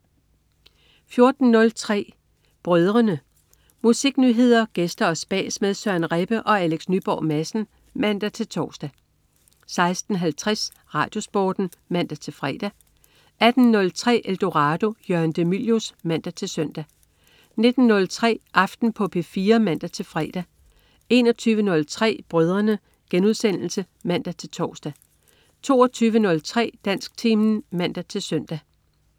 14.03 Brødrene. Musiknyheder, gæster og spas med Søren Rebbe og Alex Nyborg Madsen (man-tors) 16.50 RadioSporten (man-fre) 18.03 Eldorado. Jørgen de Mylius (man-søn) 19.03 Aften på P4 (man-fre) 21.03 Brødrene* (man-tors) 22.03 Dansktimen (man-søn)